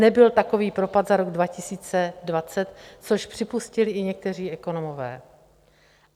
Nebyl takový propad za rok 2020, což připustili i někteří ekonomové.